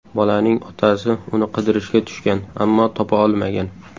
Bolaning otasi uni qidirishga tushgan, ammo topa olmagan.